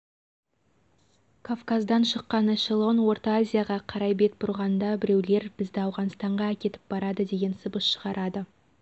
кафказдан шыққан эшлон орта азияға қарай бет бұрғанда біреулер бізді ауғанстанға әкетіп барады деген сыбыс шығарады